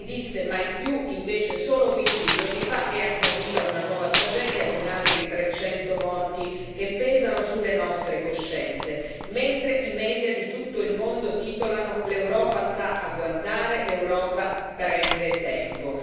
Si disse mai più, invece solo 15 giorni fa è accaduta una nuova tragedia con altri 300 morti che pesano sulle nostre coscienze, mentre i media di tutto il mondo titolano L'Europa sta a guardare, l'Europa prende tempo.